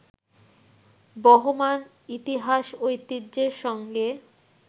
বহমান ইতিহাস-ঐতিহ্যের সঙ্গে